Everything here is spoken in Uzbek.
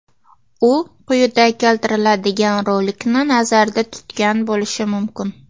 U quyida keltiriladigan rolikni nazarda tutgan bo‘lishi mumkin.